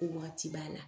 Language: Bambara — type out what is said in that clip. Ko wagati b'a la